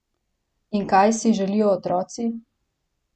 In kaj si želijo otroci?